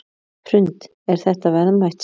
Hrund: Er þetta verðmætt safn?